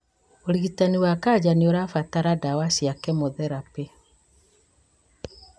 ũrigitani wa kanja nĩũrabatara ndawa cia kĩmotherapĩ